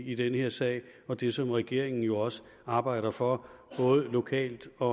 i den her sag og det som regeringen jo også arbejder for både lokalt og